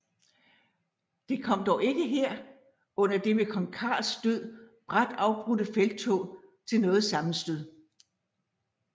Det kom dog ikke her under det ved kong Carls død brat afbrudte felttog til noget sammenstød